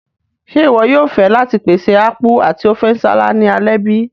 Ṣe iwọ yóò fẹ láti pèsè Apku ati Ofe nsala ni alẹ́ bi?